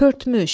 Pörtmüş.